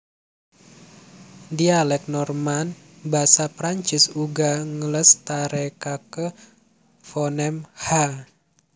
Dhialèk Norman basa Prancis uga nglestarèkaké fonem /h/